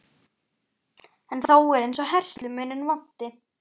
En þó er eins og herslumuninn vanti.